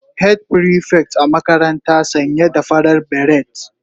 Head prefect a makarantara sanye da farar beret